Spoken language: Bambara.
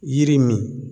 Yiri min